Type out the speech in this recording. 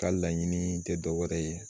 Ka laɲini te dɔ wɛrɛ ye